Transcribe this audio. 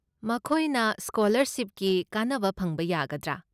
ꯃꯈꯣꯏꯅ ꯁ꯭ꯀꯣꯂꯔꯁꯤꯞꯀꯤ ꯀꯥꯟꯅꯕ ꯐꯪꯕ ꯌꯥꯒꯗ꯭ꯔꯥ?